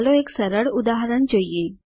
ચાલો એક સરળ ઉદાહરણ જોઈએ